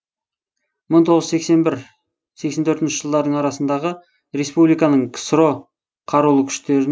мың тоғыз жүз сексен бір сексен төртінші жылдардың арасындағы респ ның ксро қарулы күштері